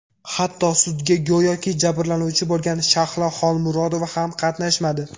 Hatto, sudda go‘yoki jabrlanuvchi bo‘lgan Shahlo Xolmurodova ham qatnashmadi.